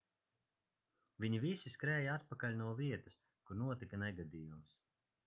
viņi visi skrēja atpakaļ no vietas kur notika negadījums